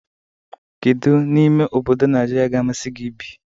Kedu n'ime obodo Nigeria ga-amasị gị ibi?